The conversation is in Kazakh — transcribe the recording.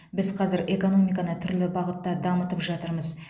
біз қазір экономиканы түрлі бағытта дамытып жатырмыз